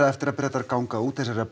eftir að Bretar ganga út þessarar